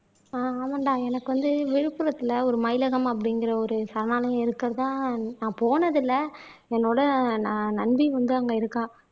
ஆஹ் ஆமாண்டா எனக்கு வந்து விழுப்புரத்துல ஒரு மயிலகம் அப்படிங்கிற ஒரு சரணாலயம் இருக்கிறதா நான் போனது இல்லை என்னோட ந நண்பி வந்து அங்க இருக்கா